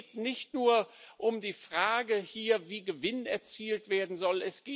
Es geht nicht nur um die Frage, wie Gewinn erzielt werden soll.